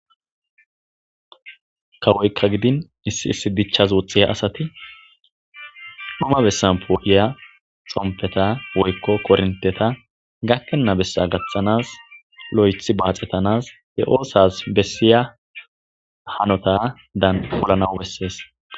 Kawoyka gidon issi issi dichasi woxiya asati dhuma besani po'iya xompeta woyko koronteta gakena besa gathanasi lo'ethi baaxetanasi he oothasi besiya hanotadani polana besesi.